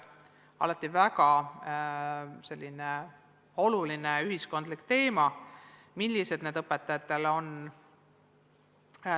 Alati on olnud väga oluline ühiskondlik teema, millised nõuded õpetajatele on.